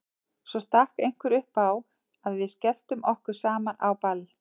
Svo stakk einhver upp á að við skelltum okkur saman á ball.